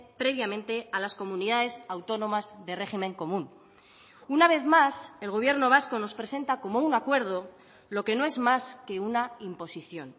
previamente a las comunidades autónomas de régimen común una vez más el gobierno vasco nos presenta como un acuerdo lo que no es más que una imposición